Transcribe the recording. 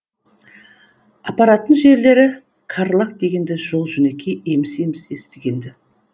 апаратын жерлері карлаг дегенді жол жөнекей еміс еміс естігенді